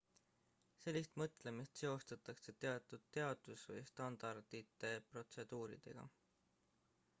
sellist mõtlemist seostatakse teatud teadus või standardite protseduuridega